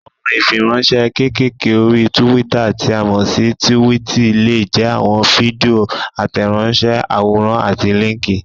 Àwọn ìfiránsẹ́ kékèké orí túwítà tí a mọ̀ sí túwìtì lè jẹ́ àwọn fídíò, àtẹ̀ránsẹ́, àwòrán àti líńkì.